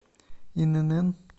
инн